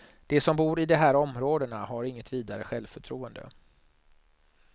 De som bor i de här områdena har inget vidare självförtroende.